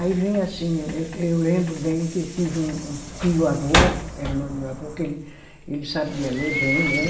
Aí vinha assim, eu eu lembro bem que eu tive um um tio-avô, que era irmão do meu avô, que ele sabia ler bem, né?